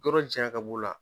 Yɔrɔ jaɲa ka b'u la